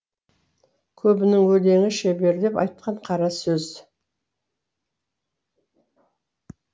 көбінің өлеңі шеберлеп айтқан қара сөз